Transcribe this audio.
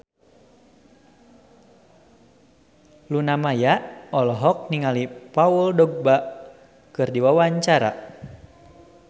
Luna Maya olohok ningali Paul Dogba keur diwawancara